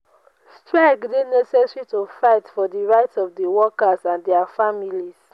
strike dey necessary to fight for di rights of di workers and dia families.